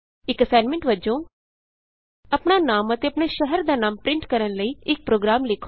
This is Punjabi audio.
ਇਕ ਅਸਾਈਨਮੈਂਟ ਵਜੋਂ ਆਪਣਾ ਨਾਮ ਅਤੇ ਆਪਣੇ ਸ਼ਹਿਰ ਦਾ ਨਾਮ ਪਰਿੰਟ ਕਰਨ ਲਈ ਇਕ ਪ੍ਰੋਗਰਾਮ ਲਿਖੋ